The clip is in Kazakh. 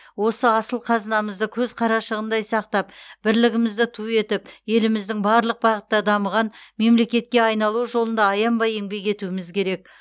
осы асыл қазынамызды көз қарашығындай сақтап бірлігімізді ту етіп еліміздің барлық бағытта дамыған мемлекетке айналуы жолында аянбай еңбек етуіміз керек